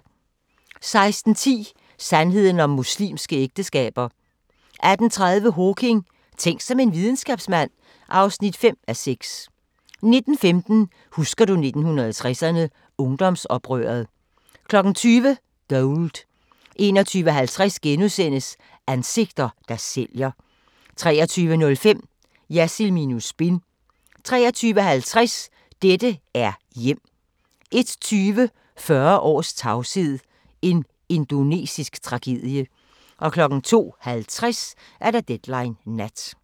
16:10: Sandheden om muslimske ægteskaber 18:30: Hawking: Tænk som en videnskabsmand (5:6) 19:15: Husker du 1960'erne – Ungdomsoprøret 20:00: Gold 21:50: Ansigter, der sælger * 23:05: Jersild minus spin 23:50: Dette er hjem! 01:20: 40 års tavshed – en indonesisk tragedie 02:50: Deadline Nat